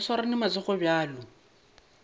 ba swarane ka matsogo bjalo